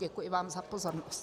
Děkuji vám za pozornost.